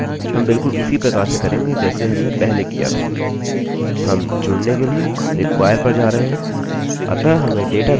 हम जुड़ने के लिए require पर जा रहे हैं अतः हमें डेटाबेस से जुड़ने की आवश्यकता है